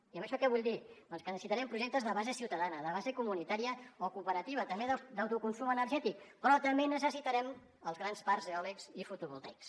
i amb això què vull dir doncs que necessitarem projectes de base ciutadana de base comunitària o cooperativa també d’autoconsum energètic però també necessitarem els grans parcs eòlics i fotovoltaics